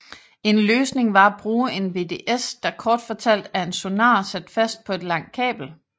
En løsning var at bruge en VDS der kort fortalt er en sonar sat fast på et langt kabel